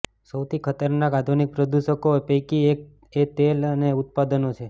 સૌથી ખતરનાક આધુનિક પ્રદુષકો પૈકી એક તે તેલ અને ઉત્પાદનો છે